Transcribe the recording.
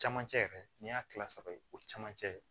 Camancɛ yɛrɛ n'i y'a kila saba ye o camancɛ